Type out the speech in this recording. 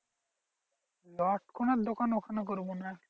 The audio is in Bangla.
লটকনের দোকান ওখানে করবো না।